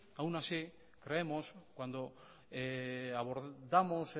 aun así creemos que cuando abordamos